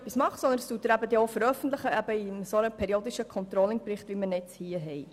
Das Ergebnis veröffentlicht er in einem periodischen Controlling-Bericht, wie er uns nun vorliegt.